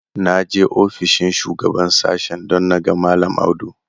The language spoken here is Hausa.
Na je ofishin shugaban sashen don na ga mallam Audu.